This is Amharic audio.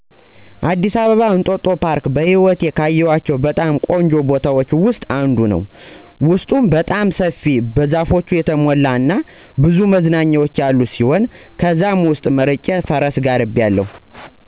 አዲስ አበባ እንጦጦ ፓርክ በህይወቴ ካየኋቸው በጣም ቆንጆ ቦታዎች ውስጥ አንዱ ነው። ውስጡም በጣም ሰፊ፣ በዛፎች የተሞላ እና ብዙ መዝናኛዎች ያሉት ሲሆን ከነዛም ውስጥ መርጬ ፈረስ ጋልቢያለሁ።